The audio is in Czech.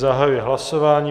Zahajuji hlasování.